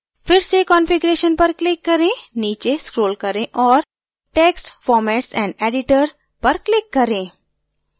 फिर से configuration पर click करें नीचे scroll करें औऱ text formats and editor पर click करें